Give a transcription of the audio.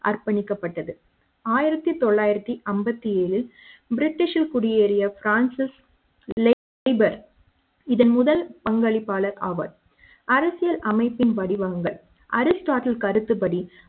அர்ப்பணிக்கப்பட்டது ஆயிரத்து தொள்ளாயிறத்தி ஐம்பத்து ஏழு பிரிட்டிஷ் குடியேறிய பிரான்சிஸ் லேபர் இதன் முதல் பங்களிப்பாளர் ஆவார் அரசியலமைப்பின் படிவங்கள் அரிஸ்டாட்டில் கருத்துபடி